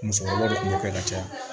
Musokɔrɔba de kun b'o kɛ ka caya